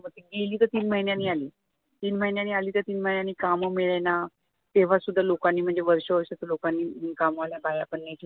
मग ती गेली तर तीन महिन्यांनी आली, तीन महिन्यांनी आली तर कामं मिडेना तेव्हा सुद्धा लोकांनी म्हणजे वर्षा वर्षाच्या लोकांनी काम वाल्या बाया पण नाही ठेवल्या